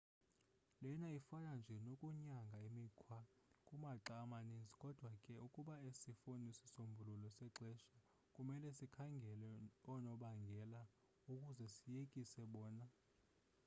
lena ifana nje nokunyanga imikhwa kumaxa amaninzi. kodwa ke ukuba asifuni sisombululo sexeshana kumele sikhangele oonobangela ukuze siyekise bona